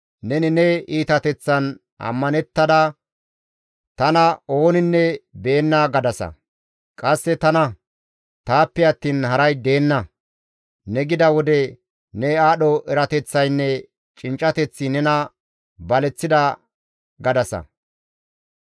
Neni ne iitateththan ammanettada, ‹Tana ooninne be7enna› gadasa. Qasse, ‹Tana; taappe attiin haray deenna ne gida wode ne aadho erateththaynne cinccateththi nena baleththida› gadasa.